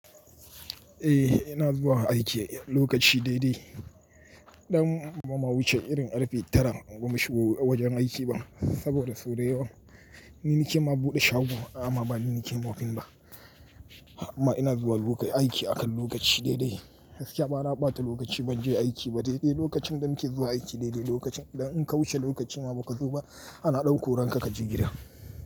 Eh ina zuwa aiki lokaci daidai. Idan ba ma mu wuce irin arfi tara ba mu shigo wajen aiki ba saboda sau dayawa ni ne ke ma buɗe shago amma ba ni ke mofin ba. Amma ina zuwa lokai aiki akan lokaci daidai. Yaushe ka bara ɓata lokaci ban je aiki ba daidai lokacin da muke zuwa aiki daidai lokacin da in ka wuce lokaci ma ba ka zo ba ana ɗan ko ranka kaji gida.